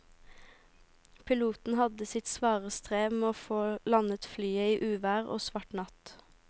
Piloten hadde sitt svare strev med å få landet flyet i uvær og svart natt.